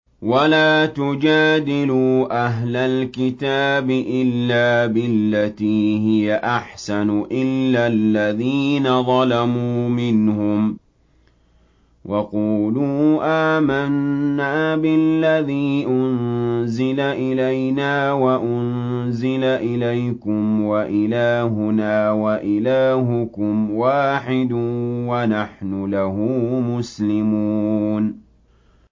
۞ وَلَا تُجَادِلُوا أَهْلَ الْكِتَابِ إِلَّا بِالَّتِي هِيَ أَحْسَنُ إِلَّا الَّذِينَ ظَلَمُوا مِنْهُمْ ۖ وَقُولُوا آمَنَّا بِالَّذِي أُنزِلَ إِلَيْنَا وَأُنزِلَ إِلَيْكُمْ وَإِلَٰهُنَا وَإِلَٰهُكُمْ وَاحِدٌ وَنَحْنُ لَهُ مُسْلِمُونَ